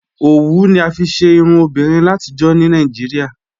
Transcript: Ọwù ni a fíí ṣè irùn obìnrin làtíjọ̀ ní Nàìjíríà